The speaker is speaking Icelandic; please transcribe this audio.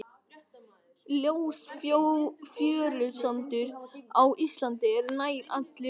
Ljós fjörusandur á Íslandi er nær allur úr skeljabrotum, skeljasandur.